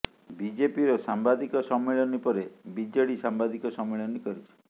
ବିଜେପିର ସାମ୍ବାଦିକ ସମ୍ମିଳନୀ ପରେ ବିଜେଡି ସାମ୍ବାଦିକ ସମ୍ମିଳନୀ କରିଛି